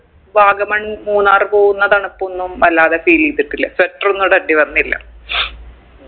വാഗമൺ മൂന്നാർ പോവുന്ന തണുപ്പൊന്നും വല്ലാതെ feel എയ്തിട്ടില്ല sweater ഒന്നും ഇടണ്ടി വന്നില്ല